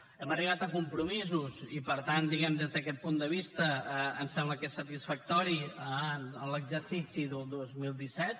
hem arribat a compromisos i per tant diguem ne des d’aquest punt de vista ens sembla que és satisfactori en l’exercici del dos mil disset